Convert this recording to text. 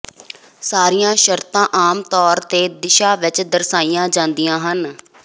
ਸਾਰੀਆਂ ਸ਼ਰਤਾਂ ਆਮ ਤੌਰ ਤੇ ਦਿਸ਼ਾ ਵਿਚ ਦਰਸਾਈਆਂ ਜਾਂਦੀਆਂ ਹਨ